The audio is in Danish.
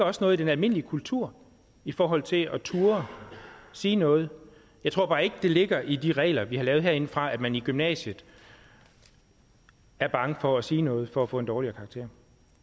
også i den almindelige kultur i forhold til at turde sige noget jeg tror bare ikke at det ligger i de regler vi har lavet herindefra at man i gymnasiet er bange for at sige noget for at få en dårligere karakter